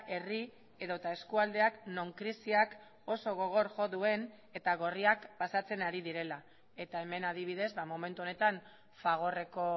herri edota eskualdeak non krisiak oso gogor jo duen eta gorriak pasatzen ari direla eta hemen adibidez momentu honetan fagorreko